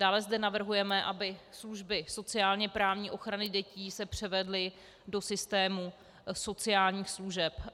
Dále zde navrhujeme, aby služby sociálně-právní ochrany dětí se převedly do systému sociálních služeb.